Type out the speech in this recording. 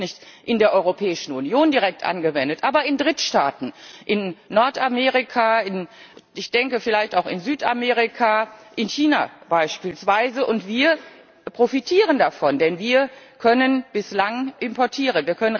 Ja, sie wird nicht in der Europäischen Union direkt angewendet, aber in Drittstaaten in Nordamerika, ich denke vielleicht auch in Südamerika, in China beispielsweise und wir profitieren davon, denn wir können bislang importieren.